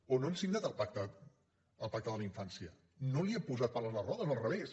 o no hem signat el pacte de la infància no hi hem posat pals a les rodes al revés